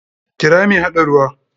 Kira mai haɗa ruwa!